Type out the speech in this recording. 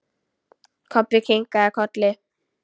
Kobbi kinkaði kolli.